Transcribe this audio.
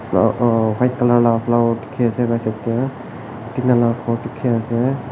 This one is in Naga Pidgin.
uh huh white colour la flower dikhiase side tey tina la ghor dikhiase.